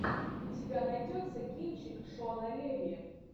у тебя найдется кинчик шона леви